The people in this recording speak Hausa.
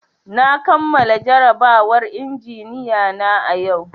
Na kamala jarabawar injiniya na yau